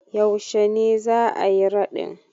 Yaushe ne za a yi raɗin?